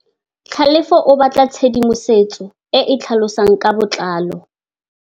Tlhalefô o batla tshedimosetsô e e tlhalosang ka botlalô.